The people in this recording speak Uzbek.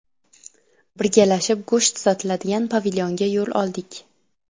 Birgalashib go‘sht sotiladigan pavilyonga yo‘l oldik.